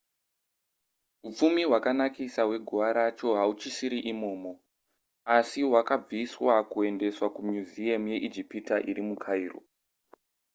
hupfumi hwakanakisa hweguva racho hauchisiri imomo asi hwakabviswa kuendeswa kumuseum yeijipita iri mukairo